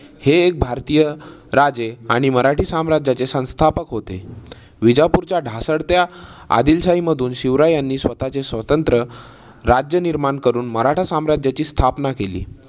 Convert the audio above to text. हे एक भारतीय राजे आणि मराठी साम्राज्याचे संस्थापक होते. विजापूरच्या ढासळत्या आदिलशाही मधून शिवरायांनी स्वतःचे स्वतंत्र राज्य निर्माण करून मराठा साम्राज्याची स्थापना केली.